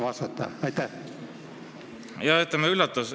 Oskad sa vastata?